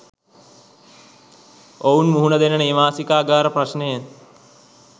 ඔවුන් මුහුණ දෙන නේවාසිකාගාර ප්‍රශ්නය